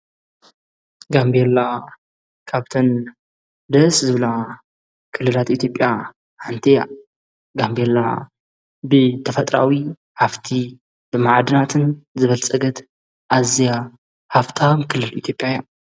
ጋምቤላ ካብተን ደስ ዝብላ ክልላት ኢትዮጵያ ሓንቲ እያ፡፡ ጋምቤላ ብተፈጥራዊ ሃፍቲ ብመዓድናትን ዝበልፀገት ኣዝያ ሃፍታም ክልል ኢትዮጵያ እያ፡፡